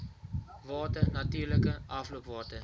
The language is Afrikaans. water natuurlike afloopwater